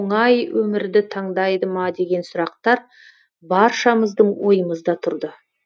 оңай өмірді таңдайды ма деген сұрақтар баршамыздың ойымызда тұрды